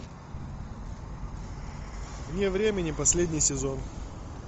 вне времени последний сезон